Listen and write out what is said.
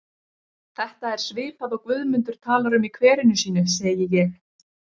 Þetta er svipað og Guðmundur talar um í kverinu sínu, segi ég.